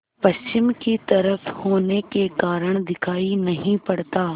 पश्चिम की तरफ होने के कारण दिखाई नहीं पड़ता